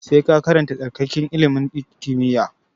Sai ka karanta tsarkakakke ilimin kimiyya!